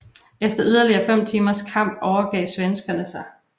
Efter yderligere fem timers kamp overgav svenskerne sig